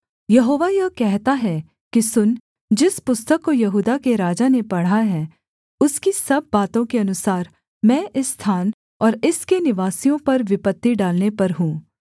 यहोवा यह कहता है कि सुन जिस पुस्तक को यहूदा के राजा ने पढ़ा है उसकी सब बातों के अनुसार मैं इस स्थान और इसके निवासियों पर विपत्ति डालने पर हूँ